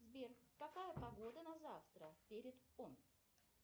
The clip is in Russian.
сбер какая погода на завтра